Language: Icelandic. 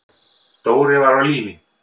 Dóri var á lífi.